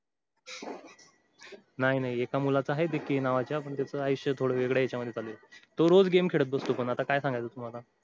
नाही नाही पण एका मुलाचा आहे ते k पण त्याचा आयुष्य थोड वेगळ ह्याच्या मध्ये चालूय तो रोज game खेळत बसतो पण काय सांगायचं तुम्हाला